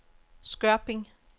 Skørping